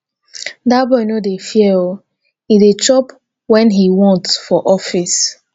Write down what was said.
dat boy no dey fear oo e dey chop wen he want for office